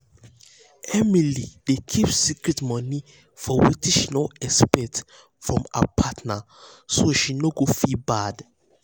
emily dey keep secret money for wetin she no expect from her partner so she no go feel bad.